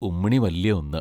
ഉമ്മിണി വല്യ ഒന്ന്